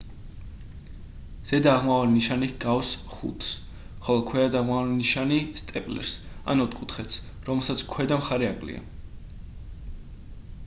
ზედა აღმავალი ნიშანი ჰგავს v-ს ხოლო ქვედა დაღმავალი ნიშანი სტეპლერს ან ოთხკუთხედს რომელსაც ქვედა მხარე აკლია